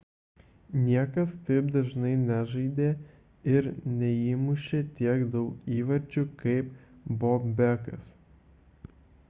niekas taip dažnai nežaidė ir neįmūšė tiek daug įvarčių kaip bobekas